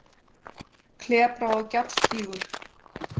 Klepra- og gjallgígur